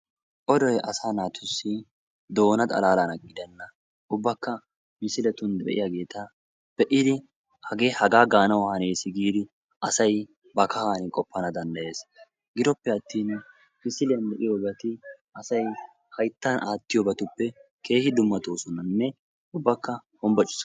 Odoy asaa naatussi doona xalalaan gidennan ubbakka misiletun de'iyaageeta be'idi hage haga gaanawu hanees giidi asay ba kaahan qopana danddayees. Giddoppe attin misiliyaan be'iyoobay asay hayttan aattiyoobatuppe keehin dummatoosonanne ubbakka hombboccisoosona.